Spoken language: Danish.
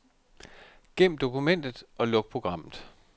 Gem dokumentet og luk programmet.